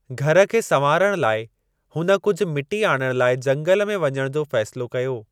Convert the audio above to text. घर खे संवारण लाए, हुन कुझ मिटी आणण लाइ जंगल में वञण जो फ़ैसलो कयो।